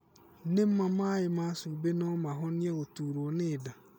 Nĩma maĩ ma cumbĩ no mahonie gũturwo nĩ nda?